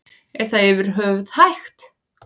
Er það yfir höfuð hægt?